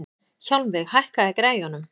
Hjálmveig, hækkaðu í græjunum.